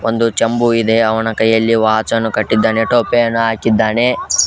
ಒಂದು ಜಂಬೂ ಇದೆ ಅವನ ಕೈಯಲ್ಲಿ ವಾಚ್ ಅನ್ನು ಕಟ್ಟಿದ್ದಾನೆ ಟೋಪಿ ಅನ್ನು ಹಾಕಿದ್ದಾನೆ.